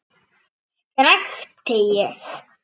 skrækti ég.